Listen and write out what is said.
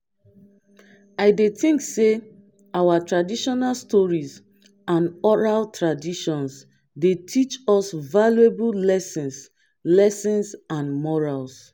i dey think say our traditional stories and oral traditions dey teach us valuable lessons lessons and morals.